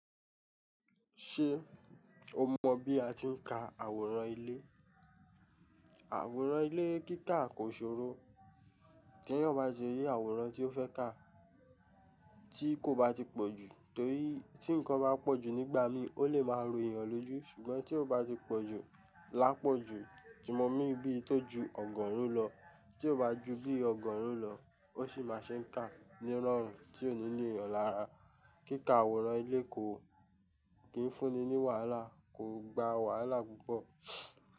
Ṣé o mọ bí a ti ń ka àwòrán ilé? Àwòrán ilé kíkà kò ṣòro. Tí ènìyàn bá ṣe ri àwòrán tí ó fẹ́ kà, tí kò bá ti pọ̀ jù, torí tí nǹkan bá pọ̀ jù nígbà mí, ó lè máa rò ènìyàn lójú. Ṣùgbọ́n tí ó bá ti pọ̀ jù, lápọ̀jù tí mo mean bíi tó ju ọgọ́rùn-ún lọ. Tí ó bá ju bí ọgọ́rùn lọ, ó sì máa ṣe ń kà ní rọrùn tí ò ni nìyàn lára. Kíkà àwòrán ilé kò, kií fúnni ní wàhálà, kò gba wàhálà púpọ̀.